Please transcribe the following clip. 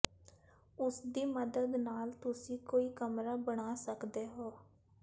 ਉਸਦੀ ਮਦਦ ਨਾਲ ਤੁਸੀਂ ਕੋਈ ਕਮਰਾ ਬਣਾ ਸਕਦੇ ਹੋ